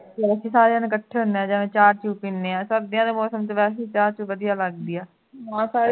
ਅਸੀਂ ਸਾਰੇ ਜਣੇ ਇਕੱਠੇ ਹੁੰਦੇ ਹਾਂ ਜਿਵੇਂ ਚਾਹ ਚੁਹ ਪੀਨੇ ਆਂ ਸਰਦੀਆਂ ਦੇ ਮੌਸਮ ਦੇ ਵਿਚ ਵੈਸੇ ਹੀ ਚਾਹ ਵਧੀਆ ਲੱਗਦੀ ਹੈ ਬਹੁਤ ਸਾਰੇ